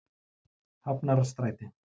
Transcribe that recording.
Hafnarstræti